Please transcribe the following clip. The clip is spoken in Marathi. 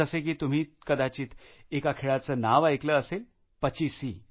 जसे की तुम्ही कदचित एका खेळाचे नाव ऐकलं असेलपचीसी